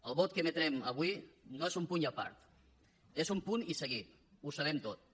el vot que emetrem avui no és un punt i a part és un punt i seguit ho sabem tots